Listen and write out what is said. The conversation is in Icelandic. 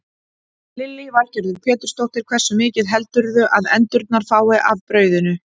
Lillý Valgerður Pétursdóttir: Hversu mikið heldurðu að endurnar fái af brauðinu?